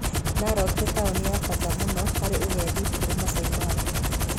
Narok nĩ taũni ya bata mũno harĩ ũgedi kũrĩa Maasai Mara.